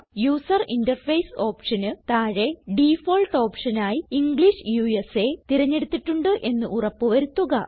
user interface ഓപ്ഷന് താഴെ default option ആയി ഇംഗ്ലിഷ് USAതിരഞ്ഞെടുത്തിട്ടുണ്ട് എന്ന് ഉറപ്പ് വരുത്തുക